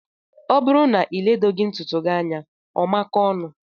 O bụrụ na iledoghi ntụtụ gị anya ọ makóó ọnụ.